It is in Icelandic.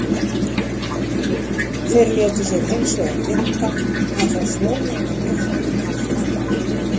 Þeir létu sér hins vegar lynda að fá flóaða mjólk út í kaffið á morgnana.